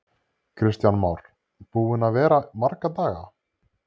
Kristján Már: Búinn að vera marga daga?